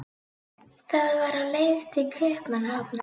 Það var á leið til Kaupmannahafnar.